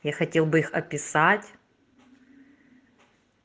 я хотел бы их описать